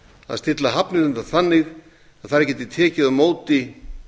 að stilla hafnirnar þannig að þær geti tekið á móti